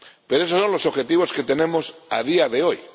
Pero esos son los objetivos que tenemos a día de hoy.